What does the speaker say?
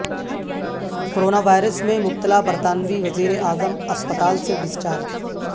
corona virus میں مبتلا برطانوی وزیر اعظم اسپتال سے ڈسچارج